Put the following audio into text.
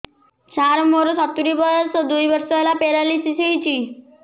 ସାର ମୋର ସତୂରୀ ବର୍ଷ ବୟସ ଦୁଇ ବର୍ଷ ହେଲା ପେରାଲିଶିଶ ହେଇଚି